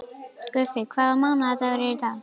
Guffi, hvaða mánaðardagur er í dag?